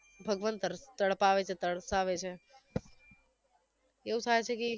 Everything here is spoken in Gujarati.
ભગવાન તર તડપાવે છે તરસાવે છે એવુ થાશે કે ઈ